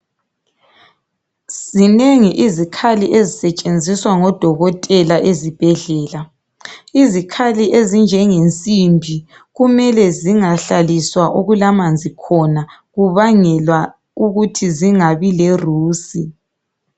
Zinengi izikhlali ezisetshenziswa ngodokotela ezibhedlela izikhali ezinjenge nsimbi kumele zingahlaliswa okulamanzi khona kubangelwa ukuthi zingabi lerusi